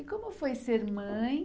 E como foi ser mãe?